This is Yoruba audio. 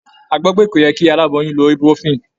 A gbọ́ pé kò yẹ kí aláboyún lo ibuprofen.